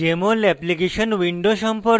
jmol application window সম্পর্কে